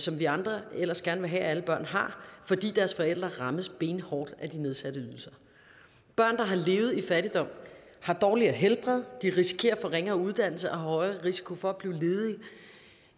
vi andre ellers gerne vil have at alle børn har fordi deres forældre rammes benhårdt af de nedsatte ydelser børn der har levet i fattigdom har dårligere helbred de risikerer at få ringere uddannelse og har højere risiko for blive